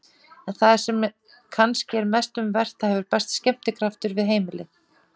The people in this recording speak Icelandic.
En það sem kannski er mest um vert: það hefur bæst skemmtikraftur við heimilið.